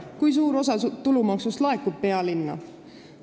Kui suur osa tulumaksust laekub pealinna?